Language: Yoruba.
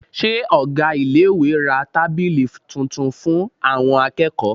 Ṣé ọ̀gá iléèwé ra tábìlì tuntun fún àwọn akẹ́kọ̀ọ́?